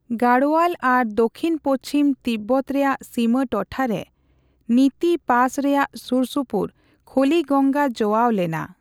ᱜᱟᱲᱳᱭᱟᱞ ᱟᱨ ᱫᱟᱠᱷᱤᱱᱼᱯᱩᱪᱷᱤᱢ ᱛᱤᱵᱵᱚᱛ ᱨᱮᱭᱟᱜ ᱥᱤᱢᱟᱹ ᱴᱚᱴᱷᱟ ᱨᱮ ᱱᱤᱛᱤ ᱯᱟᱥ ᱨᱮᱭᱟᱜ ᱥᱩᱨᱥᱩᱯᱩᱨ ᱠᱷᱚᱞᱤᱜᱚᱝᱜᱟ ᱡᱚᱣᱟᱣ ᱞᱮᱱᱟ ᱾